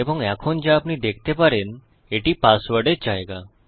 এবং এখনযা আপনি দেখতে পারেন এটি পাসওয়ার্ডের জায়গা